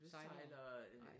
Sejlere